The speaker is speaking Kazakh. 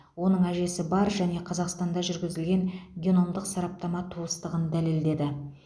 оның әжесі бар және қазақстанда жүргізілген геномдық сараптама туыстығын дәлелдеді